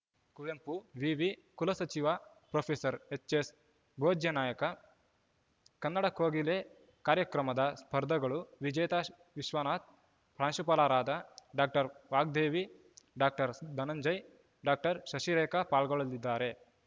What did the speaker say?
ಕುವೆಂಪು ವಿವಿ ಕುಲಸಚಿವ professor H S Bhojyanaik Kannada Kogile ಕಾರ್ಯಕ್ರಮದ ಸ್ಪರ್ಧಾಗ್ ಳು ವಿಜೇತ ವಿಶ್ವನಾಥ್‌ ಪ್ರಾಂಶುಪಾಲರಾದ doctor Vagdevi doctor Dhananjay doctor Shashirekha ಪಾಲ್ಗೊಳ್ಳಲಿದ್ದಾರೆ